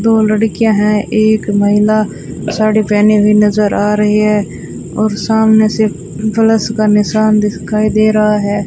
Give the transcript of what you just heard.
दो लड़कियां है एक महिला साड़ी पहनी हुई नजर आ रही है और सामने से प्लस का निशान भी दिखाई दे रहा है।